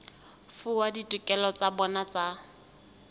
fuwa ditokelo tsa bona tsa